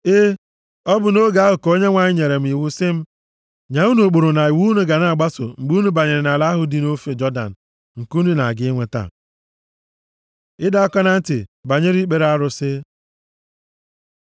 E, ọ bụ nʼoge ahụ ka Onyenwe anyị nyere m iwu sị m nye unu ụkpụrụ na iwu unu ga-agbaso mgbe unu banyere nʼala ahụ dị nʼofe Jọdan, nke unu na-aga inweta. Ịdọ aka na ntị banyere ikpere arụsị